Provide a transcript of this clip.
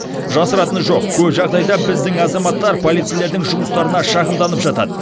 жасыратыны жоқ көп жағдайда біздің азаматтар полицейлердің жұмыстарына шағымданып жатады